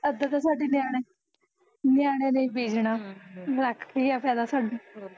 ਅੱਧਾ ਤਾਂ ਸਾਡੇ ਨਿਆਣੇ ਨਿਆਣਿਆ ਨੇ ਈ ਪੀ ਜਣਾ, ਰੱਖ ਕੇ ਕਿਆ ਫ਼ੈਦਾ ਸਾਨੂੰ